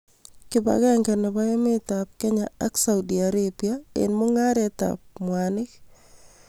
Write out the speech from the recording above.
Kipakenge nebo emetab Kenya ak Saudi Arabia eng mungaretab mwanik